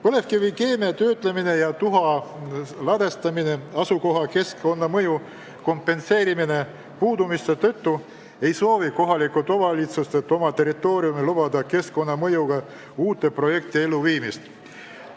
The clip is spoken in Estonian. Põlevkivikeemiatööstuse ja tuha ladestamise keskkonnamõju kompenseerimise puudumise tõttu ei soovi kohalikud omavalitsused oma territooriumil lubada ellu viia uusi keskkonnamõjuga projekte.